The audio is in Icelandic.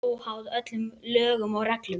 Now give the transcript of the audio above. Óháð öllum lögum og reglum.